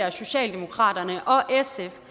at socialdemokratiet og sf